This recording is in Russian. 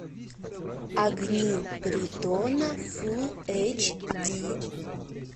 огни притона фул эйч ди